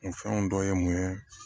Nin fɛnw dɔ ye mun ye